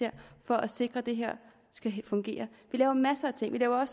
for at sikre at det her skal fungere vi laver masser af ting vi laver